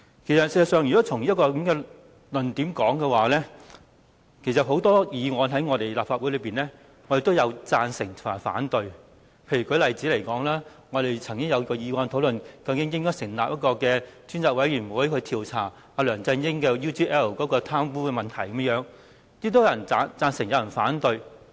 事實上，如果從這個論點來說，很多議案在議會既有人贊成，也有人反對。例如，我們曾經提出議案討論應否成立專責委員會，調查梁振英收取 UGL 利益的貪污事件，最終有人贊成，也有人反對。